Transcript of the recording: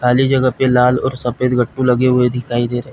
खाली जगह पे लाल और सफेद गट्टू लगे हुए दिखाई दे रहे हैं।